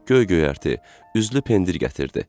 Göy-göyərti, üzlü pendir gətirdi.